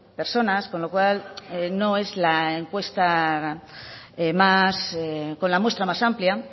personas con lo cual no es la encuesta con la muestra más amplia